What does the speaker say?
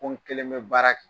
Ko n kelen be baara kɛ.